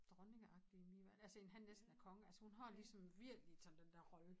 Dronningeagtig i mine øjne altså end han næsten er konge altså hun har ligesom virkelig sådan den dér rolle